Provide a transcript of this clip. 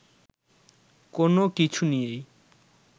কোনো কিছু নিয়েই